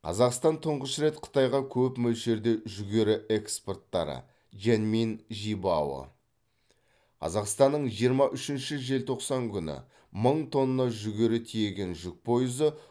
қазақстан тұңғыш рет қытайға көп мөлшерде жүгері экспорттары жэньминь жибао қазақстанның жиырма үшінші желтоқсан күні мың тонна жүгері тиеген жүк пойызы